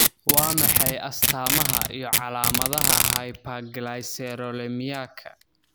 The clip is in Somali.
Waa maxay astamaha iyo calaamadaha hyperglycerolemiaka?